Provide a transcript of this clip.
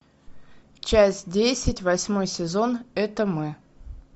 часть десять восьмой сезон это мы